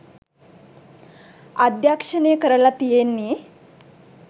අධ්‍යක්ෂණය කරලා තියන්නේ